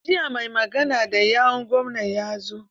Jiya mai magana da yawun gwamna ya zo.